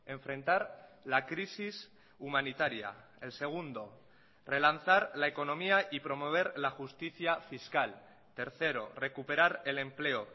enfrentar la crisis humanitaria el segundo relanzar la economía y promover la justicia fiscal tercero recuperar el empleo